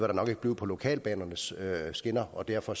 der nok ikke blive på lokalbanernes skinner og derfor